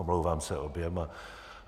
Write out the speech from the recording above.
Omlouvám se oběma.